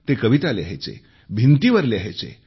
ते कविता लिहायचे भिंतींवर लिहायचे